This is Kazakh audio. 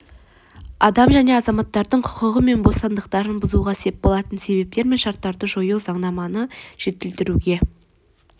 адам және азаматтардың құқығы мен бостандықтарын бұзуға сеп болатын себептер мен шарттарды жою заңнаманы жетілдіруге